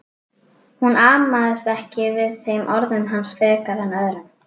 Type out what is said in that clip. Hún amaðist ekki við þeim orðum hans frekar en öðrum.